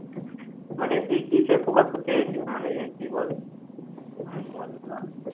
মানে তুই কিসে focus করতে চাইছিস মানে কি বলে